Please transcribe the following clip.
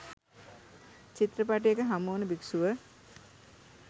චිත්‍රපටයක හමුවන භික්‍ෂුව